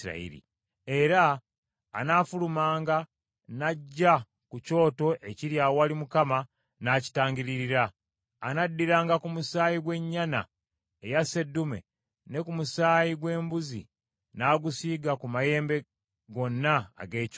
Era anaafulumanga n’ajja ku kyoto ekiri awali Mukama n’akitangiririra. Anaddiranga ku musaayi gw’ennyana eya seddume ne ku musaayi gw’embuzi n’agusiiga ku mayembe gonna ag’ekyoto.